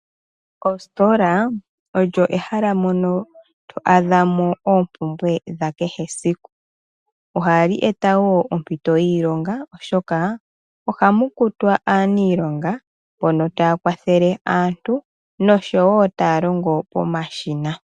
Oositola olyo ehala mono to adha mo oompumbwe dha kehe esiku. Ohadhi eta wo oompito dhiilonga oshoka ohamu kutwa aaniilonga mbono taya kwathele aantu noshowo taya longo pomashina.